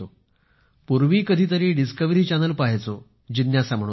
पूर्वी कधीतरी Discovery Channel पाहायचो जिज्ञासा म्हणून